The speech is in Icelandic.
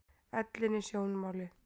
Ellin í sjónmáli.